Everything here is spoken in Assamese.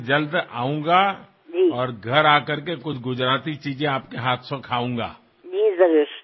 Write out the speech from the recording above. ইয়াকেই চাকিৰ তলৰ অন্ধকাৰ বুলি কোনা নহয় নে এই উৎসৱৰ প্ৰকৃত আনন্দ তেতিয়াহে বৃদ্ধি হয় যেতিয়া এই অন্ধকাৰ নোহোৱা হৈ চাৰিওফালে উজ্বলি উঠে